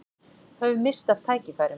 Höfum misst af tækifærum